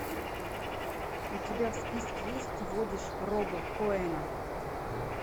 у тебя в списке есть ты водишь роба коэна